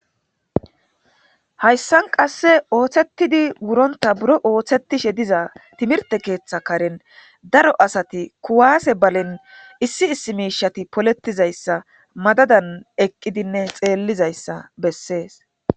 Hayssan qasse ooththetidi wuronta buro ooththetishe diza timirte keeththa karen daro asati kuwaase balen issi issi miishati poletizayssa madadan eqqidinne xeellizayssa bessees.